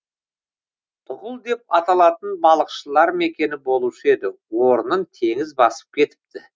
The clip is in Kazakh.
тұғыл деп аталатын балықшылар мекені болушы еді орнын теңіз басып кетіпті